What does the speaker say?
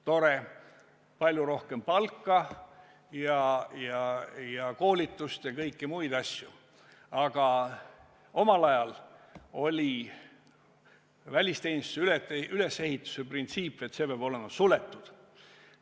Tore, vaja on palju rohkem palka ja koolitust ja kõiki muid asju, aga omal ajal oli välisteenistuse ülesehituse printsiip, et see peab olema suletud.